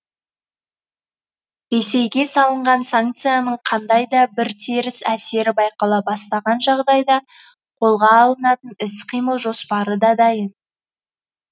ресейге салынған санкцияның қандай да бір теріс әсері байқала бастаған жағдайда қолға алынатын іс қимыл жоспары да дайын